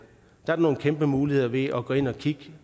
er nogle kæmpe muligheder ved at gå ind og kigge